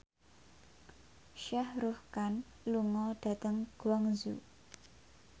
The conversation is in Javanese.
Shah Rukh Khan lunga dhateng Guangzhou